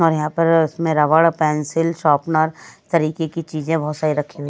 और यहां पर उसमें रबड़ पेंसिल शॉपनर तरीके की चीजें बहुत सारी रखी हुई--